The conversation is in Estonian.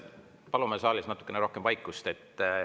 Palume saalis natukene rohkem vaikust!